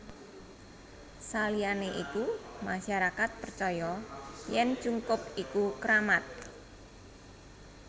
Saliyane iku masyarakat percaya yen cungkup iku kramat